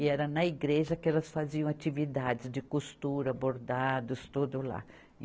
E era na igreja que elas faziam atividades de costura, bordados, tudo lá.